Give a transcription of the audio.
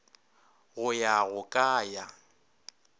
go ya go ka ya